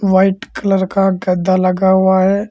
White colour का गद्दा लगा हुआ है।